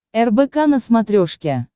рбк на смотрешке